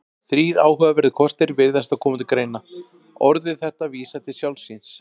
Þrír áhugaverðir kostir virðast þá koma til greina: Orðið þetta vísar til sjálfs sín.